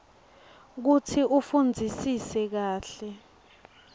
kutsi ufundzisise kahle